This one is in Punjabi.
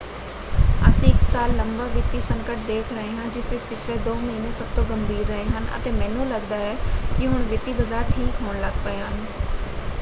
ਅਸੀਂ ਇੱਕ ਸਾਲ ਲੰਬਾ ਵਿੱਤੀ ਸੰਕਟ ਦੇਖ ਰਹੇ ਹਾਂ ਜਿਸ ਵਿੱਚ ਪਿਛਲੇ ਦੋ ਮਹੀਨੇ ਸਭ ਤੋਂ ਗੰਭੀਰ ਰਹੇ ਹਨ ਅਤੇ ਮੈਨੂੰ ਲੱਗਦਾ ਹੈ ਕਿ ਹੁਣ ਵਿੱਤੀ ਬਾਜ਼ਾਰ ਠੀਕ ਹੋਣ ਲੱਗ ਪਏ ਹਨ।